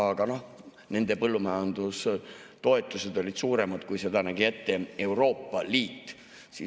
Aga nende põllumajandustoetused olid suuremad, kui seda nägi ette Euroopa Liit.